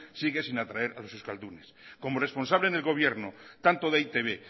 sigue sin atraer a los euskaldunes como responsable en el gobierno tanto de e i te be